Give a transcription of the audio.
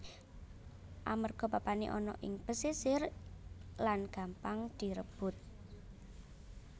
Amerga papané ana ing pesisir lan gampang direbut